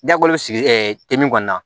Dakolo sigi te min kɔni na